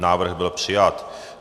Návrh byl přijat.